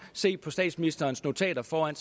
se på statsministerens notater foran